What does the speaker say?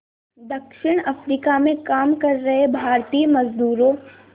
दक्षिण अफ्रीका में काम कर रहे भारतीय मज़दूरों